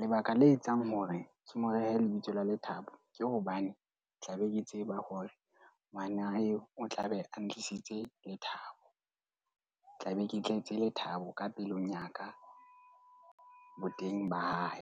Lebaka le etsang hore ke mo rehe lebitso la Lethabo, ke hobane tla be ke tseba hore ngwana eo o tlabe a ntlisitse lethabo. Tlabe ke tletse lethabo ka pelong ya ka boteng ba hae.